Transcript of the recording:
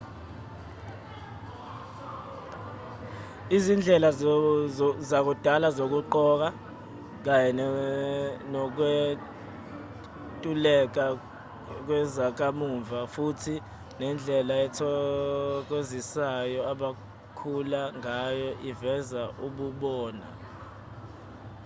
izindlela zakudala zokugqoka kanye nokwentuleka kwezakamuva futhi nendlela ethokozisayo abakhula ngayo iveza ububona